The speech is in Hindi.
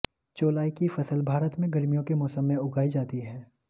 चौलाई की फसल भारत में गर्मियों के मौसम में उगाई जाती है